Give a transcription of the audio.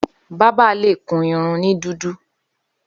Bàbà lé kún irún ni dùdù